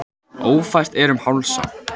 Ófært er um Hálsa